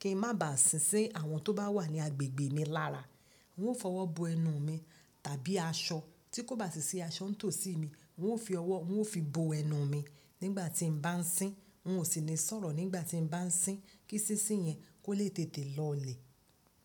kí n má ba à sín si àwọn tó bá wà ní agbègbè mi lára. Ń ó fi ọwọ́ bo ẹnu mi tàbí aṣọ tí kò bá sì sí aṣọ ń tòsí mi, ń ó fi ọwọ́, ń ó fi bo ẹnu mi nígbà tí mo bá ń sín. N ò sì ní sọ̀rọ̀ nígbà tí mo bá ń sín kí sísí yẹn kó lè tètè lọ lè.